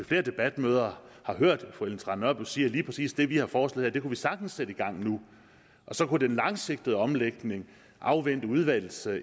flere debatmøder har hørt fru ellen trane nørby sige at lige præcis det vi har foreslået man sagtens sætte i gang nu og så kunne den langsigtede omlægning afvente udvalgets